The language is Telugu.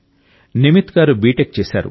నిమిత్ గారు బీటెక్ చేశారు